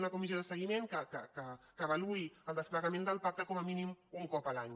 una comissió de segui·ment que avaluï el desplegament del pacte com a mí·nim un cop l’any